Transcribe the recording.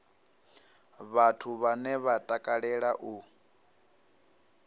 vhathu vhane vha takalea u